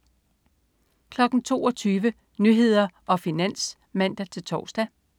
22.00 Nyhederne og Finans (man-tors)